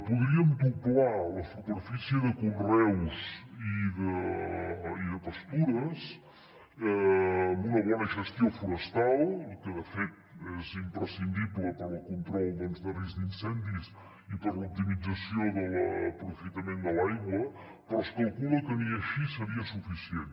podríem doblar la superfície de conreus i de pastures amb una bona gestió forestal que de fet és imprescindible per al control de risc d’incendis i per a l’optimització de l’aprofitament de l’aigua però es calcula que ni així seria suficient